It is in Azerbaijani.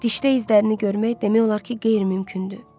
Dişdə izlərini görmək demək olar ki, qeyri-mümkündür.